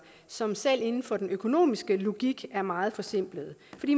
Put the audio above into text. som selv inden for den økonomiske logik er meget forsimplede